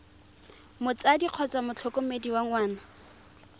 motsadi kgotsa motlhokomedi wa ngwana